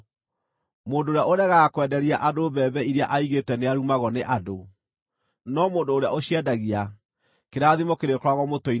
Mũndũ ũrĩa ũregaga kwenderia andũ mbembe iria aigĩte nĩarumagwo nĩ andũ, no mũndũ ũrĩa ũciendagia, kĩrathimo kĩrĩkoragwo mũtwe-inĩ wake.